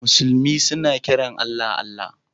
Musulmi suna kiran Allah, Allah.